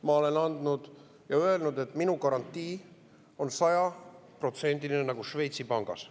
Ma olen öelnud, et minu garantii on sajaprotsendiline nagu Šveitsi pangas.